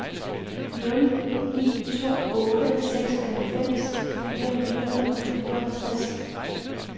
nul ni to otte seksoghalvfems fire hundrede og fireogtres